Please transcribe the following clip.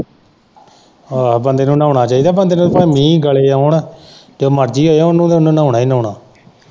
ਆਹੋ ਬੰਦੇ ਨੂੰ ਨਾਉਣਾ ਚਾਹੀਦਾ, ਬੰਦੇ ਨੂੰ ਭਾਵੇਂ ਮੀਂਹ, ਗੜੇ ਆਉਣ ਤੇ ਉਨੂੰ ਤੇ ਨਾਉਣਾ ਹੀ ਨਾਉਣਾ।